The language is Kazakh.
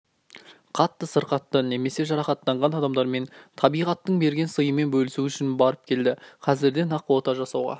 қатты сырқатты немесе жарақаттанған адамдармен табиғаттың берген сыйымен бөлісу үшін барып келді қазірден-ақ ота жасауға